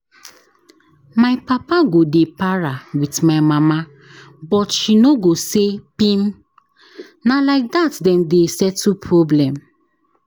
My papa go dey para with my mama but she no go say pim. Na like dat dem dey settle problem.